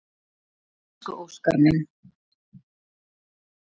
Elsku Óskar minn.